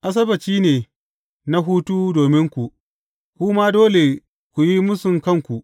Asabbaci ne na hutu dominku, kuma dole ku yi mūsun kanku.